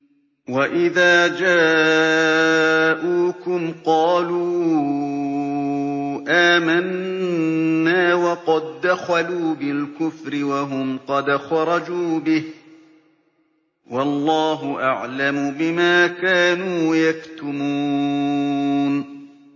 وَإِذَا جَاءُوكُمْ قَالُوا آمَنَّا وَقَد دَّخَلُوا بِالْكُفْرِ وَهُمْ قَدْ خَرَجُوا بِهِ ۚ وَاللَّهُ أَعْلَمُ بِمَا كَانُوا يَكْتُمُونَ